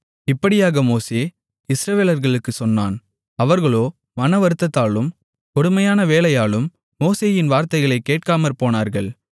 இப்படியாக மோசே இஸ்ரவேலர்களுக்குச் சொன்னான் அவர்களோ மனவருத்தத்தாலும் கொடுமையான வேலையாலும் மோசேயின் வார்த்தைகளை கேட்காமற்போனார்கள்